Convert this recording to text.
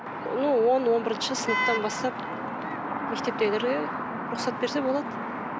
ну он он бірінші сынаптан бастап мектептегілерде рұқсат берсе болады